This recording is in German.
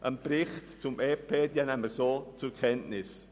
Den Bericht zum EP nimmt sie so zur Kenntnis.